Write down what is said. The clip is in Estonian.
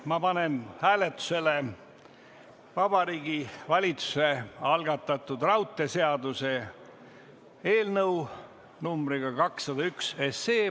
Ma panen hääletusele Vabariigi Valitsuse algatatud raudteeseaduse eelnõu numbriga 201.